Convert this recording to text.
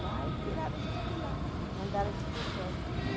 tiraram a gente de lá. Mandaram a gente ir para o hipódromo.